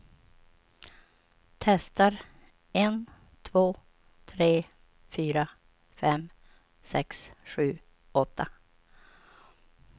Testar en två tre fyra fem sex sju åtta.